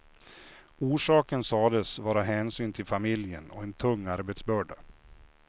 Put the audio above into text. Orsaken sades vara hänsyn till familjen och en tung arbetsbörda.